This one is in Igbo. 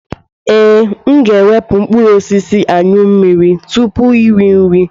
Ee, m ga-ewepụ mkpụrụ osisi Anyụ mmiri tupu iri nri.